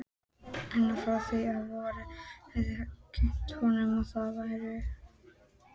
Reynslan frá því um vorið hafði kennt honum það.